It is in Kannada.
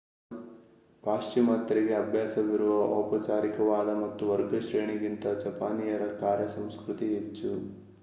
ಪಾಶ್ಚಿಮಾತ್ಯರಿಗೆ ಅಭ್ಯಾಸವಿರುವ ಔಪಚಾರಿಕವಾದ ಮತ್ತು ವರ್ಗಶ್ರೇಣಿ ಗಿಂತ ಜಪಾನೀಯರ ಕಾರ್ಯ ಸಂಸ್ಕೃತಿ ಹೆಚ್ಚು